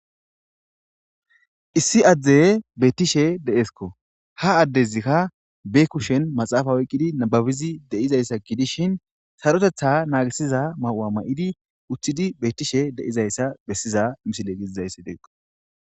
issi adzde bettishe de7eskko ha addezikka be kushen maxaafa woqqidi nababizi deizayssa gidishin sarotetha naagisiza mahu7a ma7idi uththidi bettishe de7izayssa bessiza misile gidizayssi deeqqo